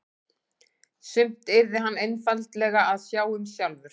Sumt yrði hann einfaldlega að sjá um sjálfur.